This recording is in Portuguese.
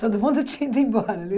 Todo mundo tinha ido embora.